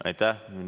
Aitäh!